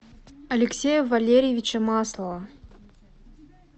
алексея валерьевича маслова